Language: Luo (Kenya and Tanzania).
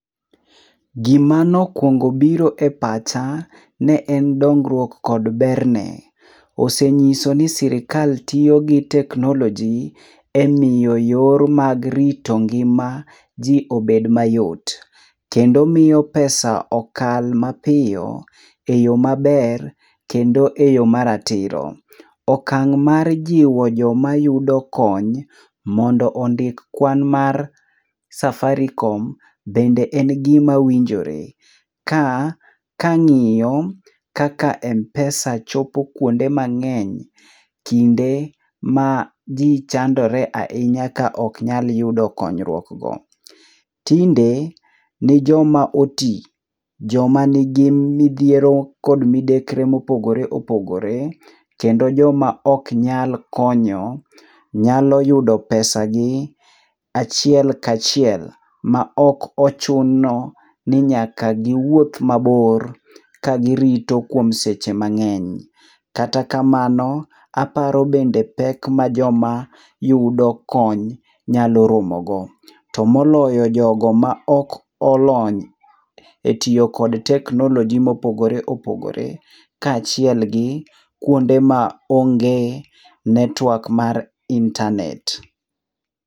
Gima nokuongo biro e pacha ne en dongruok kod berne. Ose nyiso ni sirkal tiyo gi teknoloji emiyo yor mag rito ngima ji obed mayot. Kendo miyo pesa okal mapiyo, eyo maber, kendo eyo maratiro. Okang' mar jiwo jomayudo kony mondo ondik kwan mar Safaricom, bende en gima winjore. Kaa kang'iyo kaka m-pesa chopo kuonde mang'eny, kinde ma ji chandore ahinya kaok nyal yudo konyruok go. Tinde ni joma oti, joma nigi midhiero kod midekre mopogore opogore, kendo joma ok nyal konyo, nyalo yudo pesagi achiel kachiel maok ochuno ni nyaka giwuoth mabor, ka girito kuom seche mang'eny. Kata kamano, aparo bende pek ma joma yudo kony nyalo romo go. To moloyo, jogo ma ok olony etiyo kod teknoloji mopogore opogore, kaachiel gi kuonde maonge network mar intanet.